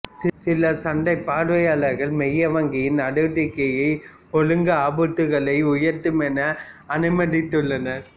சில சந்தைப் பார்வையாளர்கள் மைய வங்கியின் நடவடிக்கைகள் ஒழுக்க ஆபத்துக்களை உயர்த்தும் என அனுமானித்துள்ளனர்